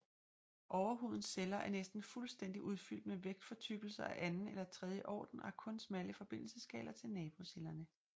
Overhudens celler er næsten fuldstændigt udfyldt med vægfortykkelser af anden eller tredje orden og har kun smalle forbindelseskanaler til nabocellerne